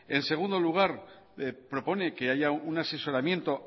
en segundo lugar propone que haya un asesoramiento